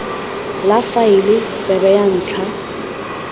la faele tsebe ya ntlha